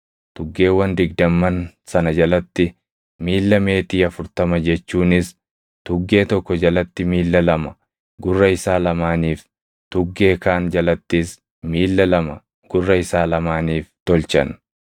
tuggeewwan digdamman sana jalatti miilla meetii afurtama jechuunis tuggee tokko jalatti miilla lama gurra isaa lamaaniif, tuggee kaan jalattis miilla lama gurra isaa lamaaniif tolchan.